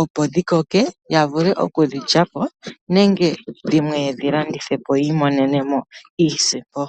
opo dhikoke yavule okudhi lyapo nenge dhimwe dhilandithwe po yi imonemo iisimpo.